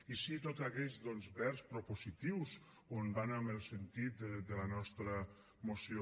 i sí tots aquests verbs propositius on van en el sentit de la nostra moció